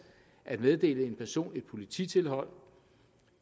at meddele en person et polititilhold